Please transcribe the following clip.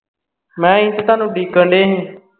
ਮੈਂ ਕਿਹਾ ਅਸੀਂ ਜੇ ਤੁਹਾਨੂੰ ਡੀਕਨ ਡਏਸੀ